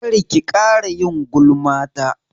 Kar ki ƙara yin gulma ta!